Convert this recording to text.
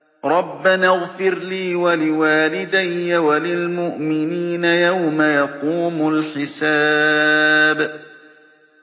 رَبَّنَا اغْفِرْ لِي وَلِوَالِدَيَّ وَلِلْمُؤْمِنِينَ يَوْمَ يَقُومُ الْحِسَابُ